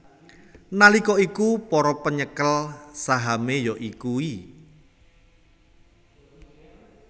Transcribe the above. Nalika iku para penyekel sahame ya iku i